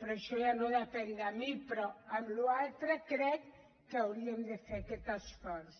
però això ja no depèn de mi però en la resta crec que hauríem de fer aquest esforç